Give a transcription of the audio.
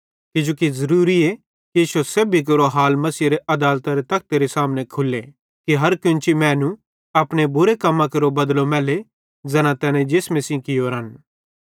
किजोकि ज़रूरीए कि इश्शो सेब्भी केरो हाल मसीहेरे आदालतरे तखतेरे सामने खुल्ले कि हर कोन्ची मैनू अपने रोड़ां बुरां कम्मां केरो बदलो मैल्ले ज़ैना तैने जिसमे सेइं कियोरन